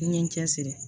N ye n cɛ siri